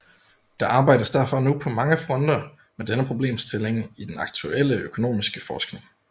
Der arbejdes derfor nu på mange fronter med denne problemstilling i den aktuelle økonomiske forskning